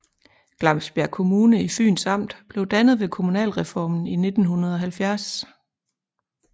Glamsbjerg Kommune i Fyns Amt blev dannet ved kommunalreformen i 1970